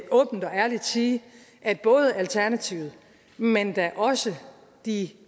åbent og ærligt sige at både alternativet men da også de